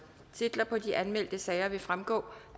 på de anmeldte sager vil fremgå